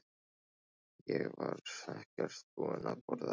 Ég var ekkert búinn að borða sjálfur.